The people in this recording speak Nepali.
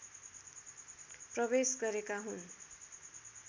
प्रवेश गरेका हुन्